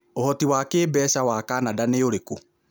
Ũhoti wa kĩĩmbeca wa Canada nĩ ũrĩkũ?